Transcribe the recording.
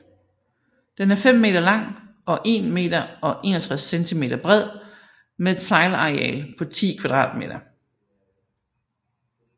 Den er 5 meter lang og 1 meter og 61 centimeter bred med et sejlareal på 10 kvadratmeter